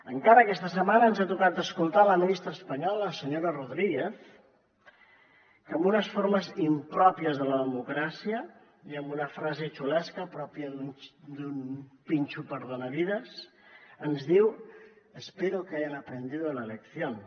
encara aquesta setmana ens ha tocat escoltar la ministra espanyola la senyora rodríguez que amb unes formes impròpies de la democràcia i amb una frase xulesca pròpia d’un pinxo perdonavides ens diu espero que hayan aprendido la lección